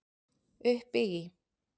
Uppi í